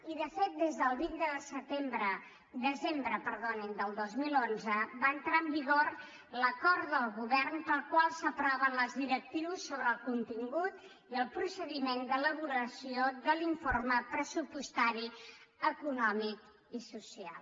i de fet des del vint de desembre del dos mil onze va entrar en vigor l’acord de govern pel qual s’aproven les directrius sobre el contingut i el procediment d’elaboració de l’informe pressupostari econòmic i social